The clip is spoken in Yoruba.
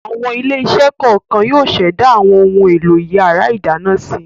Àwọn ilé-iṣẹ́ kọ̀ọ̀kan yóò ṣẹ̀dá àwọn ohun-èlò ìyàrá-ìdáná si.